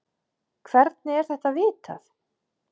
Hvernig er þetta vitað?